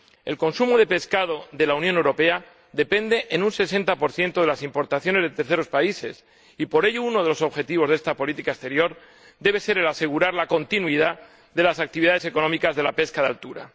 El consumo de pescado de la Unión Europea depende, en un 60 de las importaciones de terceros países y, por ello, uno de los objetivos de la dimensión exterior de esta política debe ser asegurar la continuidad de las actividades económicas de la pesca de altura.